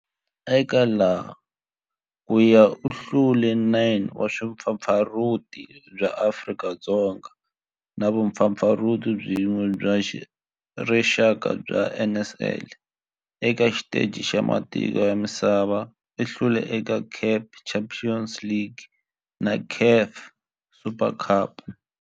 Eka laha kaya u hlule 9 wa vumpfampfarhuti bya Afrika-Dzonga na vumpfampfarhuti byin'we bya rixaka bya NSL. Eka xiteji xa matiko ya misava, u hlule eka CAF Champions League na CAF Super Cup.